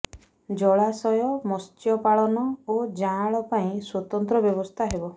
ଜଳାଶୟ ମତ୍ସ୍ୟ ପାଳନ ଓ ଯାଁଳ ପାଇଁ ସ୍ୱତନ୍ତ୍ର ବ୍ୟବସ୍ଥା ହେବ